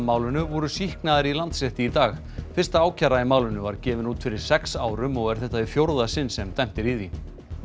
málinu voru sýknaðir í Landsrétti í dag fyrsta ákæra í málinu var gefin út fyrir sex árum og er þetta í fjórða sinn sem dæmt er í því